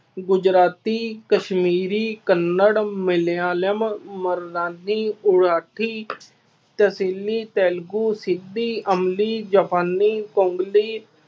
ਗੁਜਰਾਤੀ, ਕਸ਼ਮੀਰੀ, ਕੰਨੜ, ਮਲਿਆਲਮ, ਮਰਨਾਨੀ, ਮਰਾਠੀ, ਤਹਿਸੀਲੀ, ਤੇਲਗੂ, ਸਿੱਪੀ, ਅੰਬੀ, ਜਾਪਾਨੀ,